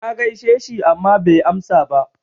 Na gaishe shi amma bai amsa ba.